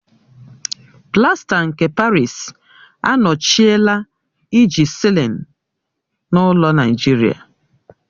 Plaster nke Parịsi anọchiela iji sịlin n'ụlọ Naijiria.